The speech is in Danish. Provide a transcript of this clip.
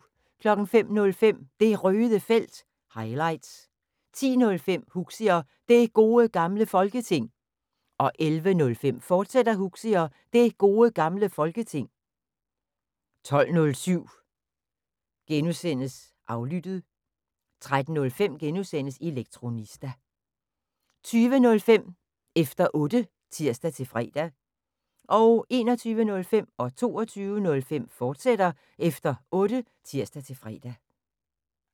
05:05: Det Røde Felt – highlights 10:05: Huxi og Det Gode Gamle Folketing 11:05: Huxi og Det Gode Gamle Folketing, fortsat 12:07: Aflyttet (G) 13:05: Elektronista (G) 20:05: Efter Otte (tir-fre) 21:05: Efter Otte, fortsat (tir-fre) 22:05: Efter Otte, fortsat (tir-fre)